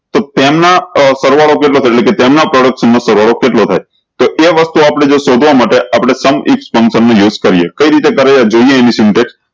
તો તેમના અ સરવાળો કેટલો કેટલો કે તેમના સરવાળો કેટલો થાય તો એ વસ્તુ આપળે જો શોધવા માટે આપળે sum function નું use કરીએ કઈ રીતે કરે તો જોયીયે એમનું syntax